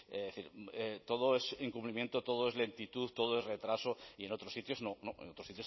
es decir todo es incumplimiento todo es lentitud todo es retraso y en otros sitios no en otros sitios